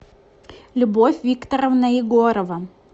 любовь викторовна егорова